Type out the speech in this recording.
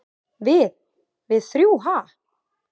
"""Við- við þrjú, ha?"""